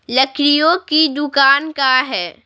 लकड़ियों की दुकान का है--